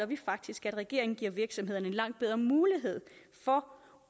vi faktisk at regeringen giver virksomhederne langt bedre mulighed for